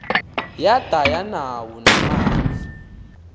yada yanawo namanzi